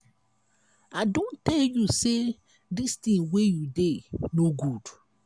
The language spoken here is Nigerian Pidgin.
i don tell you say dis thing wey you dey no good.